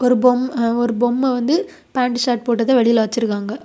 ஒரு பொம் ஒரு பொம்ம வந்து பேண்ட் சர்ட் போட்டத வெளியில வச்சிருக்காங்க.